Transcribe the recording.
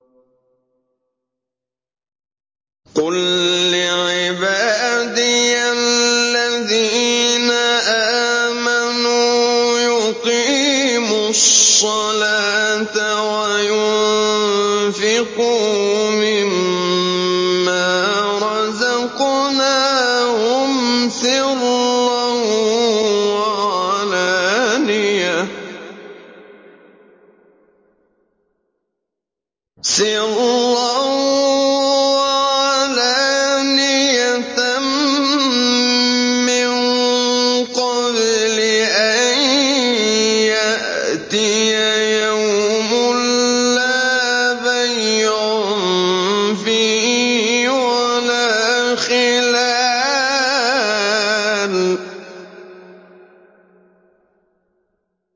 قُل لِّعِبَادِيَ الَّذِينَ آمَنُوا يُقِيمُوا الصَّلَاةَ وَيُنفِقُوا مِمَّا رَزَقْنَاهُمْ سِرًّا وَعَلَانِيَةً مِّن قَبْلِ أَن يَأْتِيَ يَوْمٌ لَّا بَيْعٌ فِيهِ وَلَا خِلَالٌ